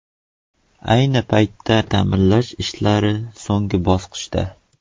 Ayni paytda ta’mirlash ishlari so‘nggi bosqichda.